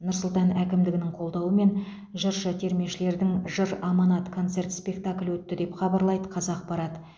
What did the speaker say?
нұр сұлтан қаласы әкімдігінің қолдауымен жыршы термешілердің жыр аманат концерт спектаклі өтті деп хабарлайды қазақпарат